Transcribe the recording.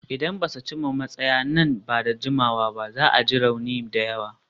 Idan ba su cimma matsaya nan ba da jimawa ba, za a ji rauni da yawa.